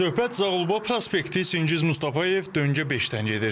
Söhbət Zağulba prospekti Çingiz Mustafayev döngə beşdən gedir.